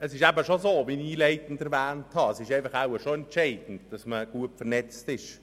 Esist, wie ich am Anfang erwähnt habe, eben schon entscheidend, dass man gut vernetzt ist.